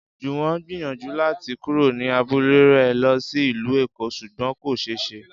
Jùwọ́n gbìyànjú láti kúrò ní abúlé rẹ̀ lọ sí ìlú Èkó ṣùgbọ́n kò ṣe é ṣe